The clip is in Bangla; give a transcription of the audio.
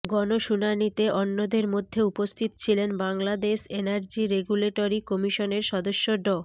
গণশুনানিতে অন্যদের ম্যধ্যে উপস্থিত ছিলেন বাংলাদেশ এনার্জি রেগুলেটরি কমিশনের সদস্য ড